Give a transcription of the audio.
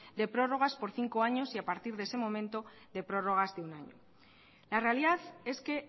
de prórrogas por cinco años y a partir de ese momento de prórrogas de un año la realidad es que